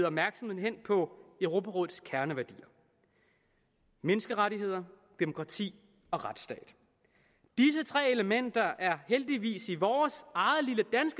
opmærksomheden på europarådets kerneværdier menneskerettigheder demokrati og retsstat disse tre elementer er heldigvis i vores eget lille